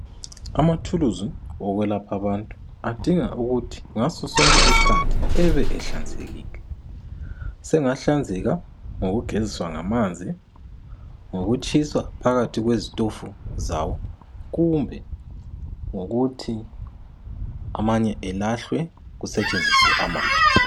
Amathuluzi okwelapha abantu adinga ukuthi ngaso sonke isikhathi ebe ehlanzekile sengahlanzeka ngokugezisa ngamanzi ngokutshisa phakathi kwezitofu zabo kumbe ngokuthi amanye alahlwe kusetshenziswe amatsha.